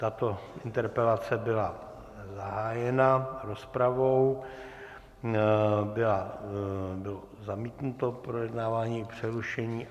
Tato interpelace byla zahájena rozpravou, bylo zamítnuto projednávání i přerušení.